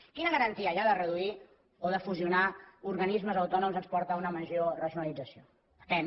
quina garantia hi ha que reduir o fusionar organismes autònoms ens porta una major racionalització depèn